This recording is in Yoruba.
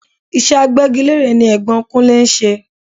Iṣẹ́ agbégilére ni Ẹ̀gbọ́n Kunlè ń ṣe.